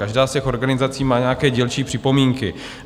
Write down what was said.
Každá z těch organizací má nějaké dílčí připomínky.